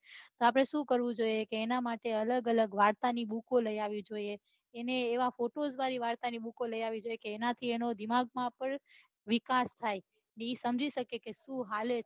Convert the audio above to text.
આપડે શું કરવું જોઈએ એના માટે અલગ અલગ વાર્તા ની બુકો લઇ આવી જોઈએ એને એવા કુટુંબ જેવા વાર્તા ની બુકો લઈ આપવી જોઈએ એ ના થી એના દિમાગ માં પન વિકાસ થાય તે સમજી સકે છે કે શું હાલે છે